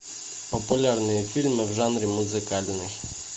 популярные фильмы в жанре музыкальный